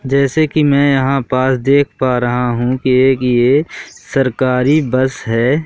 जैसे कि मैं यहां पास देख पा रहा हूं कि एक ये सरकारी बस है।